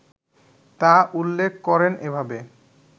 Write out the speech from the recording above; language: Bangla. তা উল্লেখ করেন এভাবে